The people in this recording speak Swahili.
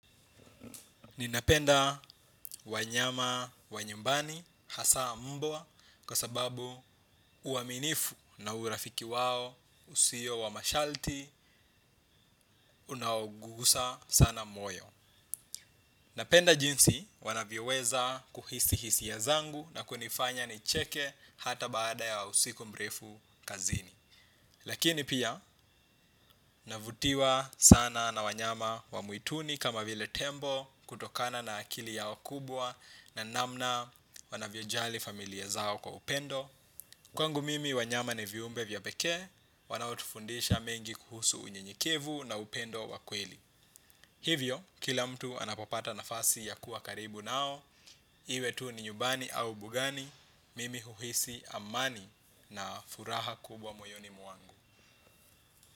Ninapenda wanyama wa nyumbani hasa mbwa kwa sababu uaminifu na urafiki wao usio wa masharti unaogusa sana moyo. Napenda jinsi wanavyoweza kuhisi hisia zangu na kunifanya nicheke hata baada ya siku mrefu kazini. Lakini pia, navutiwa sana na wanyama wa mwituni kama vile tembo kutokana na akili yao kubwa na namna wanavyojali familia zao kwa upendo. Kwangu mimi wanyama ni viumbe vya peke, wanaotufundisha mengi kuhusu unyenyekevu na upendo wa kweli. Hivyo, kila mtu anapopata nafasi ya kuwa karibu nao, iwe tu ni nyumbani au mbugani, mimi huhisi amani na furaha kubwa moyoni mwangu.